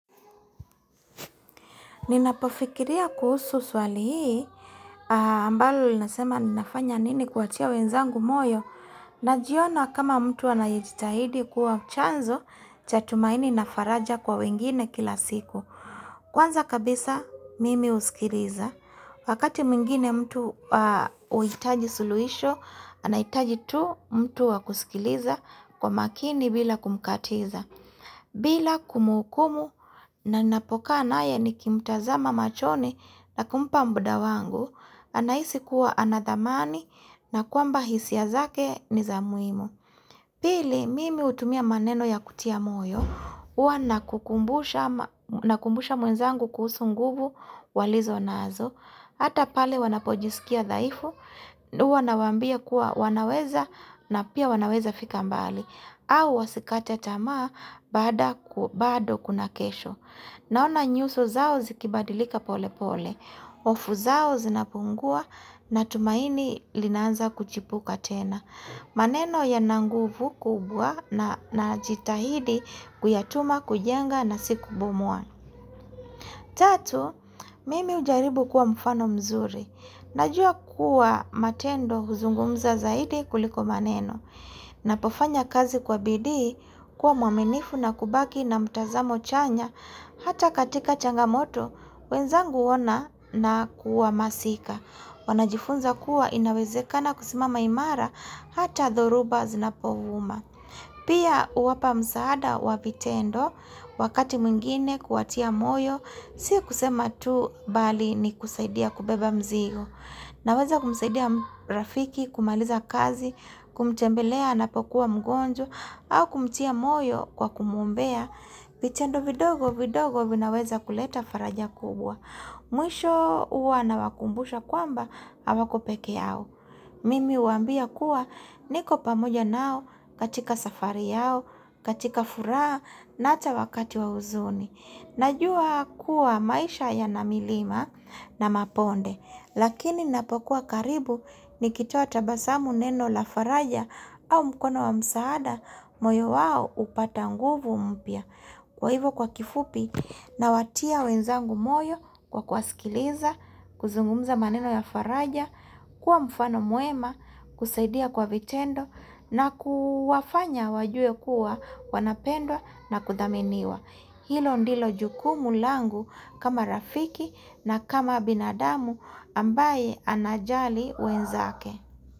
Ninapofikiria kuhusu swali hii ambalo linasema ninafanya nini kuwatia wenzangu moyo na jiona kama mtu anayejitahidi kuwa chanzo chatumaini nafaraja kwa wengine kila siku. Kwanza kabisa mimi usikiriza wakati mwingine mtu huhitaji suluhisho anahitaji tu mtu wakusikiriza kwa makini bila kumkatiza. Bila kumuhukumu na napo kaa naye nikimtazama machoni na kumpa mda wangu, anahisi kuwa anadhamani na kwamba hisia zake ni zamuhimu. Pili, mimi hutumia maneno ya kutia moyo, hua nakukumbusha mwenzangu kuhusu nguvu walizo nazo. Hata pale wanapojisikia dhaifu, hua nawambia kuwa wanaweza na pia wanaweza fika mbali, au wasikate tamaa bado kuna kesho. Naona nyuso zao zikibadilika pole pole, hofu zao zinapungua na tumaini linaanza kuchipuka tena. Maneno yana nguvu kubwa na jitahidi kuyatuma, kujenga na sikubomoa. Tatu, mimi hujaribu kuwa mfano mzuri. Najua kuwa matendo huzungumza zaidi kuliko maneno. Napofanya kazi kwa bidii kuwa mwaminifu na kubaki na mtazamo chanya. Hata katika changamoto, wenzangu wona na kuwa masika. Wanajifunza kuwa inawezekana kusimama imara hata thoruba zinapovuma. Pia uwapa msaada wa vitendo, wakati mwingine kuwatia moyo, si kusema tu bali ni kusaidia kubeba mzigo. Naweza kumsaidia rafiki, kumaliza kazi, kumtembelea anapokua mgonjwa, au kumtia moyo kwa kumuombea, vitendo vidogo vidogo vinaweza kuleta faraja kubwa. Mwisho huwa na wakumbusha kwamba, hawako peke yao. Mimi huwaambia kuwa niko pamoja nao katika safari yao, katika furaha, na hata wakati wa huzuni. Najua kuwa maisha yana milima na mabonde, lakini napokuwa karibu nikitoa tabasamu neno la faraja au mkono wa msaada, moyo wao upata nguvu mpya. Kwa hivo kwa kifupi na watia wenzangu moyo kwa kuwasikiliza, kuzungumza maneno ya faraja, kuwa mfano mwema, kusaidia kwa vitendo na kuwafanya wajue kuwa wanapendwa na kudhaminiwa. Hilo ndilo jukumu langu kama rafiki na kama binadamu ambaye anajali wenzake.